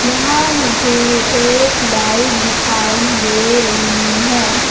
यहां मुझे एक लाइट दिखाई दे रही है।